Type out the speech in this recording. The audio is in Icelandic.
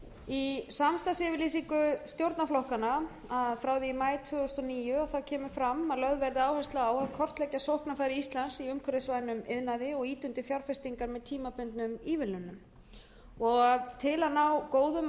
í samstarfsyfirlýsingu stjórnarflokkanna frá því í maí tvö þúsund og níu kemur fram að lögð verði áhersla á að kortleggja sóknarfæri íslands í umhverfisvænum iðnaði og ýta undir fjárfestingar með tímabundnum ívilnunum til að ná góðum og